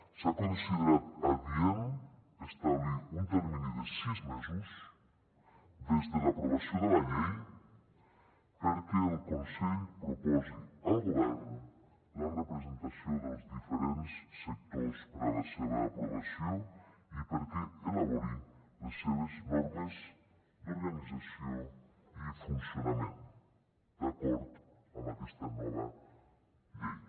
s’ha considerat adient establir un termini de sis mesos des de l’aprovació de la llei perquè el consell proposi al govern la representació dels diferents sectors per a la seva aprovació i perquè elabori les seves normes d’organització i funcionament d’acord amb aquesta nova llei